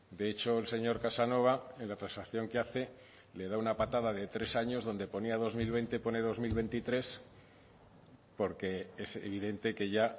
de hecho el señor casanova en la transacción que hace le da una patada de tres años donde ponía dos mil veinte pone dos mil veintitrés porque es evidente que ya